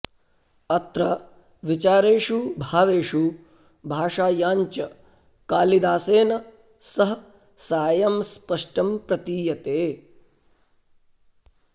अत्र विचारेषु भावेषु भाषायाञ्च कालिदासेन सह सायं स्पष्टं प्रतीयते